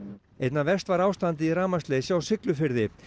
einna verst var ástandið í rafmagnsleysi á Siglufirði